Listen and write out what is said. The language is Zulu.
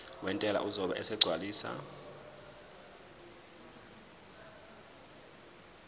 wentela uzobe esegcwalisa